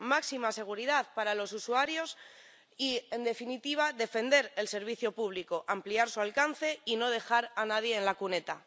máxima seguridad para los usuarios y, en definitiva, defender el servicio público, ampliar su alcance, y no dejar a nadie en la cuneta.